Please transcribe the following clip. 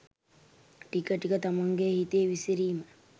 ටික ටික තමන්ගේ හිතේ විසිරීම